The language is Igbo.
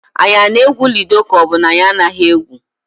Anyị na-egwu ludo ka ọ bụ na anyị anaghị egwu?